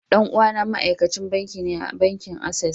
Dan uwana ma'aikacin banki ne a bankin access.